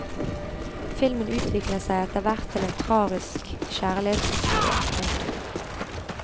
Filmen utvikler seg etter hvert til en tragisk kjærlighetshistorie. punktum